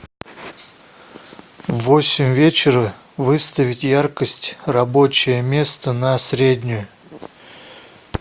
в восемь вечера выставить яркость рабочее место на среднюю